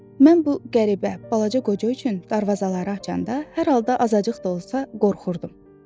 Mən bu qəribə, balaca qoca üçün darvazaları açanda hər halda azacıq da olsa qorxurdum.